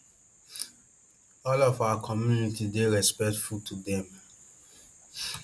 all of our community dey respectful to dem